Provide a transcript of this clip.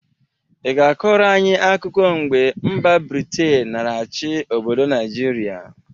Ị ga-akọrọ anyị akụkụ mgbe mba Britin nara achị obodo Naịjịrịa?